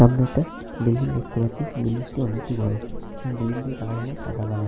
সামনে একটি বিল্ডিং দেখতে পাচ্ছি। বিল্ডিং টি অনেকটি বড় বিল্ডিং এর কালার হল সাদা কালার ।